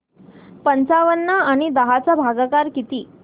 पंचावन्न आणि दहा चा भागाकार किती